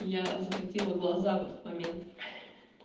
я захотела глаза в этот момент ха-ха